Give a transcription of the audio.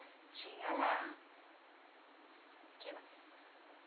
Tinha lá. Que